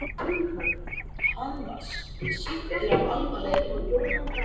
Hann var sýktur af alvarlegri lungnabólgu.